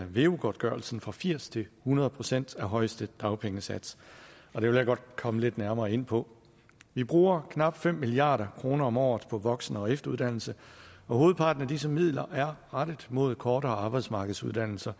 veu godtgørelsen fra firs til hundrede procent af højeste dagpengesats og det vil jeg godt komme lidt nærmere ind på vi bruger knap fem milliard kroner om året på voksen og efteruddannelse og hovedparten af disse midler er rettet mod kortere arbejdsmarkedsuddannelser